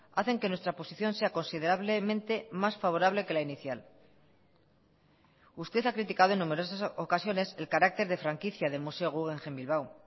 hacen que nuestra posición sea considerablemente más favorable que la inicial usted ha criticado en numerosas ocasiones el carácter de franquicia del museo guggenheim bilbao